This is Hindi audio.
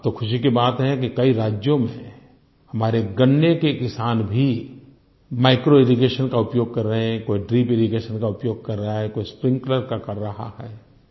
अब तो खुशी की बात है कि कई राज्यों में हमारे गन्ने के किसान भी माइक्रोइरिगेशन का उपयोग कर रहे हैं कोई ड्रिपिरिगेशन का उपयोग कर रहा है कोई स्प्रिंकलर का कर रहा है